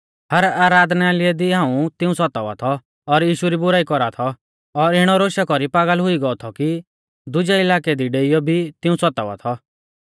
हर आराधनालय दी हाऊं तिऊं सतावा थौ और यीशु री बुराई कौरावा थौ और इणौ रोशा कौरी पागल हुई गौ थौ कि दुजै इलाकै दी डेइयौ भी तिऊं सतावा थौ